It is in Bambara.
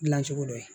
Dilan cogo dɔ ye